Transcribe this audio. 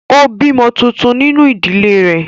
Ó bí ọmọ tuntun nínú ìdílé rẹ̀